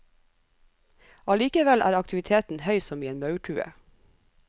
Allikevel er aktiviteten høy som i en maurtue.